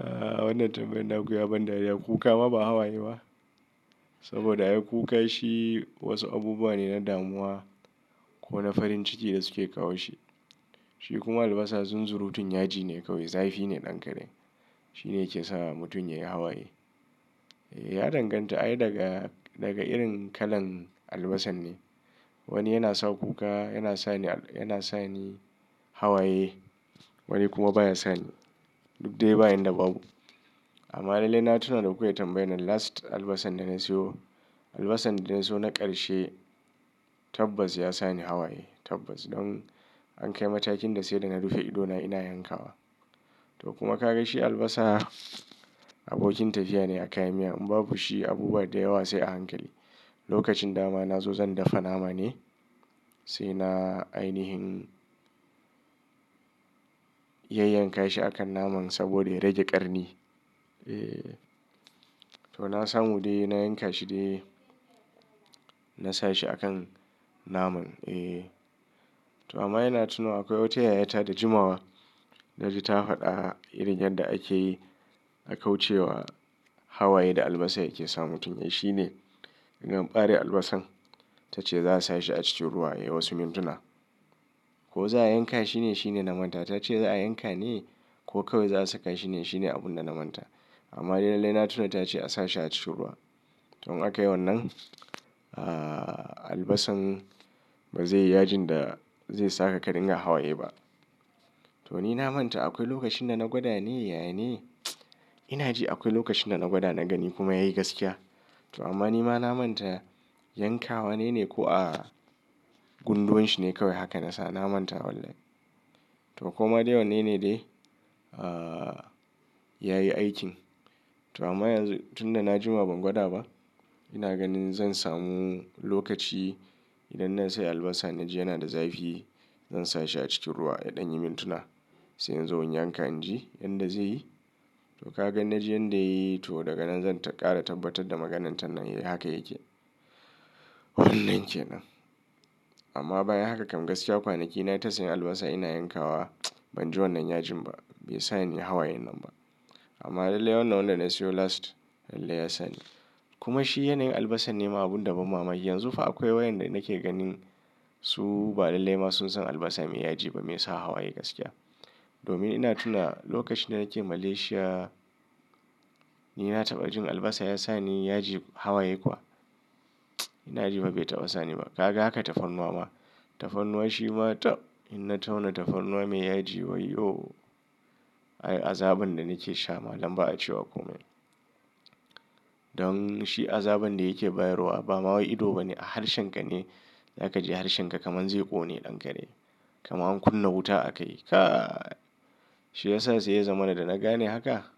Aa wannan tambayar naku ya ban dariya kuka ma ba hawaye ba. Saboda ai kuka shi wasu abubuwa ne na damuwa ko na farin ciki da suke kawo shi. Shi kuma albasa zunzurutun yaji ne kawai, zafi ne ɗankare. Shi ne yake sa mutum ya yi hawaye. Ya danganta, ai daga, daga irin kalan albasan ne. Wani yana sa kuka, yana sa ni, yana sa ni hawaye, wani kuma ba ya sa ni. Duk dai ba inda ba bu amma lallai na tuna da ku kai tambayan nan last albasan da na siyo. Albasan da na siyo na karshe tabbas ya sa ni hawaye. Tabbas don an kai matakin da sai da na rufe idona ina yankawa. To kuma ka ga shi albasa abokin tafiya ne a kayan miya. In ba bu shi, abubuwa da yawa sai a hankali. Lokacin da ma na zo zan dafa nama ne, sai na ainihin yayyan ka shi a kan naman saboda ya rage ƙarni. Eh, to na samu dai, na yanka shi dai, na sa shi a kan naman. Eh, to amma ina tuna akwai wata yayata da jimawa, na ji ta faɗa irin yadda ake akauce wa hawaye da albasa yake sa mutum. Yayi shine inga ɓare albasan. Ta ce za a sa shi a cikin ruwa yayi wasu mintuna. Ko za a yanka shi ne shine na manta. Ta ce za a yanka ne ko kawai za a saka shi ne shine abun da na manta. Amma dai, lallai na tuna ta ce a sa shi a cikin ruwa. To in aka yi wannan, ah, albasan ba zai yi yajin da zai saka ka dinga hawaye ba. To ni na manta akwai lokacin da na gwada ne, yana ne. Ina ji akwai lokacin da na gwada, na gani kuma yayi gaskiya. To amma ni ma na manta, yanka wanene ko a gunduwan shi ne kawai haka na sa na manta wallahi. To kuma dai wannan ne dai, ah, yayi aikin. To amma yanzu tunda najima ban gwada ba ina ganin zansamu lokaci idan nasai albasa naji yana da zafi zan sa shi a cikin ruwa ya danyi mintuna. Sai in zo in yanka, in ji yadda zai yi. To ka ga inna ji yadda yai, to daga nan zan ta ƙara tabbatar da maganar ta nan yayi haka yake. Wannan kenan amma bayan haka kam gaskiya kwanaki na ta siyan albasa ina yanka wa ban ji wannan yajin ba bai sani hawayen nan ba amma lallai wannan wanda na sayo last lallai ya sa ni kuma shi yanayin albasan ne ma abun da ban mamaki yanzu fa akwai waƴanda nake ganin su ba lallai ma sun san albasa mai yaji ba mai sa hawaye gaskiya domin ina tuna lokacin da nake Malaysia ni na taɓa jin albasa ya sa ni yaji hawaye kuwa ina ji fa bai taɓa sa ni ba ka ga haka tafarnuwa ma. Tafannuwa shi ma taɓ in na tauna tafarnuwa mai yaji yawwo ai azaban da nake sha malam ba a ce wa komai don shi azaban da yake bayar wa ba ma wai ido ba ne a harshenka ne za ka ji kamar harshenka kamar zai ƙone ɗankare. Kamar an kunna wuta a kai. Ka! Shi ya sa sai ya zama na da na gane haka.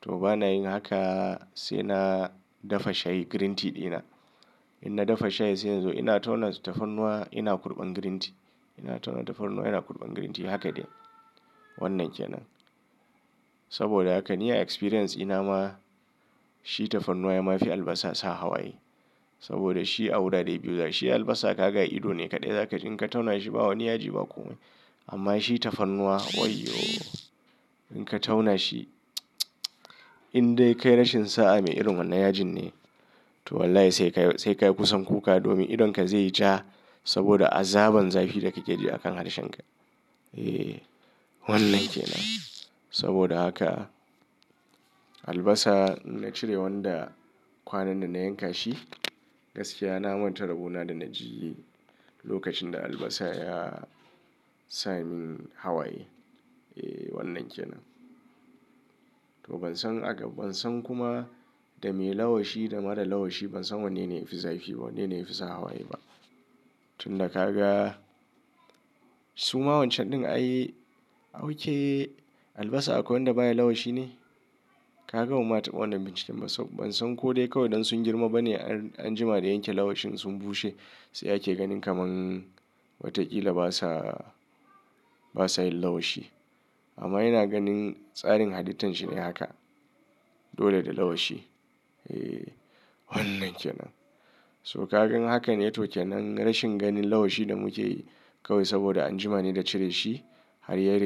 To bana yin haka sai na dafa shayi green tea dina. In na dafa shayi sai yanzu ina tauna tafarnuwa ina kurɓan green tea. Ina tauna tafarnuwa ina kurɓan green tea. Haka de. Wannan kenan. Saboda haka ni a experience ina ma, shi tafarnuwa ya ma fi albasa sa hawaye. Saboda shi a wurare biyu za, shi albasa ka ga ido ne kaɗai za ka ji in ka tauna shi ba wani yaji ba komai. Amma shi tafarnuwa wai yo! In ka tauna shi, in dai ka yi rashin sa'a mai irin wannan yajin ne, to wallahi sai ka yi, sai ka yi kusan kuka domin idonka zai ja saboda azaban zafi da kake ji a kan harshen ka. Eh, wannan kenan. Saboda haka albasa na cire wanda kwanan nan na yanka shi gaskiya na manta rabo na da na ji lokacin da albasa ya sa min hawaye. Eh, wannan kenan. To ban san aga, ban san kuma da me lawashi da marar lawashi ban san wanne ne ya fi zafi, wanne ne ya fi sa hawaye ba. Tun da ka ga su ma wancan din ayi, a wanke albasa akwai wanda baya lawashi ne? Ka ga ban ma taba wannan binciken ba saboda ban san ko dai kawai don sun girma bane an, an jima da yanke lawashin sun bushe sai ake ganin kamar watakila basa, basa yin lawashi. Amma ina ganin tsarin halitan shi ne haka. Dole da lawashi. Eh, wannan kenan. To ka gan haka ne to kenan rashin ganin lawashi da muke yi kawai saboda an jima ne da cire shi har ya ri.